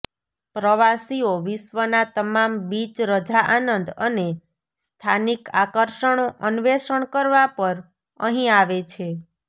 પ્રવાસીઓ વિશ્વના તમામ બીચ રજા આનંદ અને સ્થાનિક આકર્ષણો અન્વેષણ કરવા પર અહીં આવે છે